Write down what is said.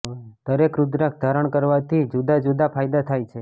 દરેક રુદ્રાક્ષ ધારણ કરવાથી જુદા જુદા ફાયદા થાય છે